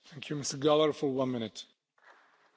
Herr Präsident, liebe Kolleginnen und Kollegen!